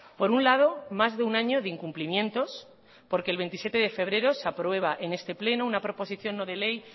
por un lado más de un año de incumplimientos porque el veintisiete de febrero se aprueba en este pleno una proposición no de ley